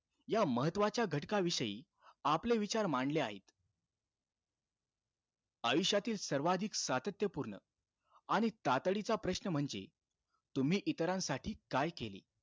या महत्वाच्या घटकाविषयी आपले विचार मांडले आहे. आयुष्यातील सर्वाधिक सातत्यपूर्ण आणि तातडीचा प्रश्न म्हणजे, तुम्ही इतरांसाठी काय केले?